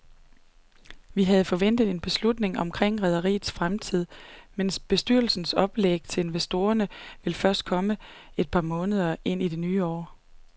Vi havde forventet en beslutning omkring rederiets fremtid, men bestyrelsens oplæg til investorerne vil først komme et par måneder ind i det nye år.